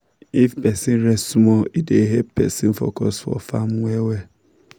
if person rest small e dey help person focus for farm well well